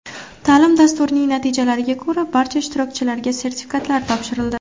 Ta’lim dasturining natijalariga ko‘ra, barcha ishtirokchilarga sertifikatlar topshirildi.